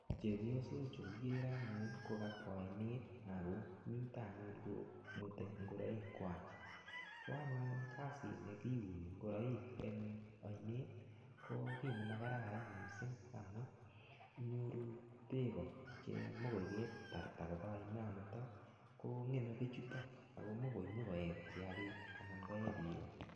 Chebioso chu anyun kikere en oinet kokabwa oinet ak komita yuno komwete ingoroikwak, ko anyun kasini kiuni ngoroik an oinet ko kii nemakararan mising amun nyoru beek che kakitarat kobaa oinoniton ko ngeme bichuton ak ko imuch inyo koyee kiakik anan inyo koyee biik.